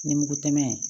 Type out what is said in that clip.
Ni mugu tɛmɛn ye